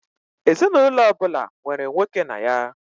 Ezinaụlọ ọbụla nwere nwoke na ya.